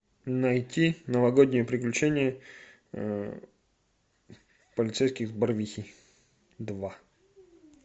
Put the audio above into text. найти новогодние приключения полицейских с барвихи два